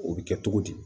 O bɛ kɛ cogo di